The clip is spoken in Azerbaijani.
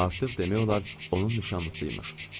Artıq demək olar, onun nişanlısıymış.